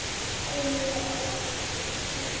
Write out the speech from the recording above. Elmu ofan á sænginni.